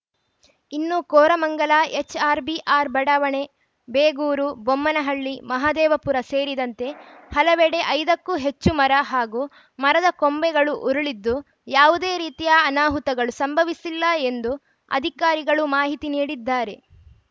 ಇನ್ನು ಕೋರಮಂಗಲ ಎಚ್‌ಆರ್‌ಬಿಆರ್‌ ಬಡಾವಣೆ ಬೇಗೂರು ಬೊಮ್ಮನಹಳ್ಳಿ ಮಹದೇವಪುರ ಸೇರಿದಂತೆ ಹಲವೆಡೆ ಐದ ಕ್ಕೂ ಹೆಚ್ಚು ಮರ ಹಾಗೂ ಮರದ ಕೊಂಬೆಗಳು ಉರುಳಿದ್ದು ಯಾವುದೇ ರೀತಿಯ ಅನಾಹುತಗಳು ಸಂಭವಿಸಿಲ್ಲ ಎಂದು ಅಧಿಕಾರಿಗಳು ಮಾಹಿತಿ ನೀಡಿದ್ದಾರೆ